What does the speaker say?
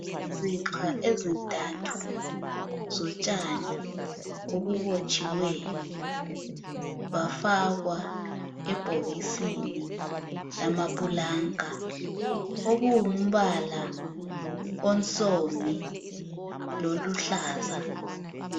Izixha ezintathu zotshani obubotshiweyo bafakwa ebhokisini lamapulanka okulumbala onsundu lolu hlaza.